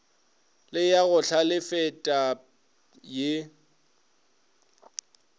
le ya go hlalefetpa ye